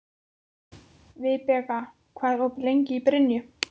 Vibeka, hvað er opið lengi í Brynju?